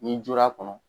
N'i jɔr'a kɔnɔ